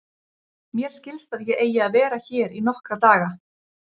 Mér skilst að ég eigi að vera hér í nokkra daga.